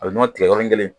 A bɛ nɔnɔ tigɛ yɔrɔnin kelen